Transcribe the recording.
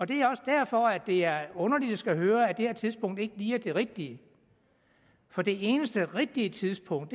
det er også derfor det er underligt at skulle høre at det her tidspunkt ikke lige er det rigtige for det eneste rigtige tidspunkt